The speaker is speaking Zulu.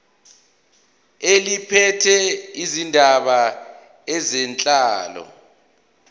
eliphethe izindaba zenhlalo